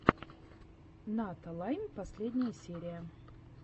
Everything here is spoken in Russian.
ната лайм последняя серия